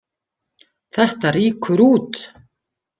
Þetta rýkur út.